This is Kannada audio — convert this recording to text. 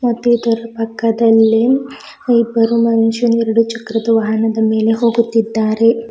ಮತ್ತು ಇದರ ಪಕ್ಕದಲಿ ಇಬ್ಬರು ಮನುಷ್ಯರು ಎರಡು ಚಕ್ರದ ವಾಹನದ ಮೇಲೆ ಹೋಗುತ್ತಿದ್ದಾರೆ.